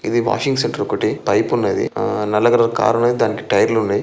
ఇది వాషింగ్ సెట్టర్ ఒకటి. పైప్ ఉన్నది. ఆ నల్ల కలర్ కార్ ఉన్నది దానకి టైర్ లున్నాయ్.